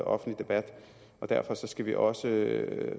offentlig debat derfor skal vi også